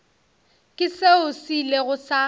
ke seo se ilego sa